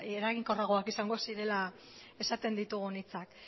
eraginkorragoak izango zirela esaten ditugun hitzak